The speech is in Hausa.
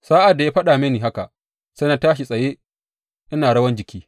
Sa’ad da ya faɗa mini haka, sai na tashi a tsaye ina rawan jiki.